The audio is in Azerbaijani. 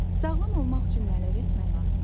Sağlam olmaq üçün nələr etmək lazımdır?